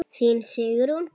Þín, Sigrún.